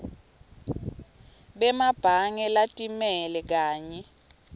bemabhange latimele kanye